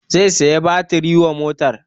Zai saya batiri wa motan